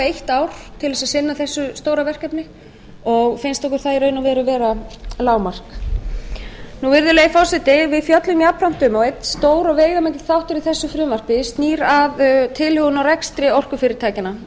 eitt ár til þess að sinna þessu stóra verkefni og finnst okkur það í raun og veru vera lágmark virðulegi forseti við fjöllum jafnframt um og einn stór og veigamikill þáttur í þessu frumvarpi snýr að tilhögun á rekstri orkufyrirtækjanna